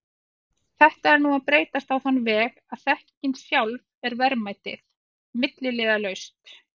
Þetta er nú að breytast á þann veg að þekkingin sjálf er verðmætið, milliliðalaust.